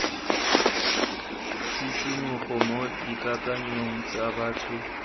tshisimogo mo dikakanyong tsa batho